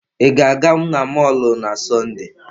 Ị ga-aga n'mọlụ na Sọnde?